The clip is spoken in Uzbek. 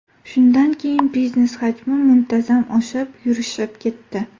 Shundan keyin biznes hajmi muntazam oshib, yurishib ketdi.